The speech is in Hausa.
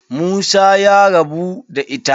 Musa ya rabu da ita.